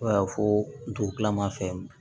Fo ka fɔ ntolaman fɛ